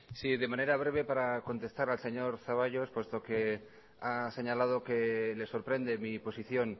sí de manera breve para contestar al señor zaballos puesto que ha señalado que le sorprende mi posición